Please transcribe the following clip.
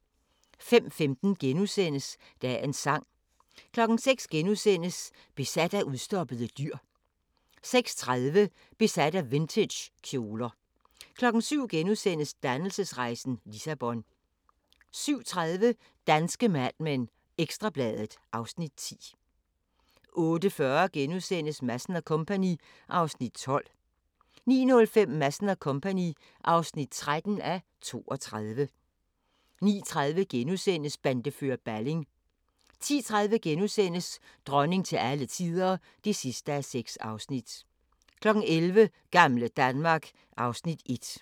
05:15: Dagens Sang * 06:00: Besat af udstoppede dyr * 06:30: Besat af vintagekjoler 07:00: Dannelsesrejsen – Lissabon * 07:30: Danske Mad Men: Ekstra Bladet (Afs. 10) 08:40: Madsen & Co. (12:32)* 09:05: Madsen & Co. (13:32) 09:30: Bandefører Balling * 10:30: Dronning til alle tider (6:6)* 11:00: Gamle Danmark (Afs. 1)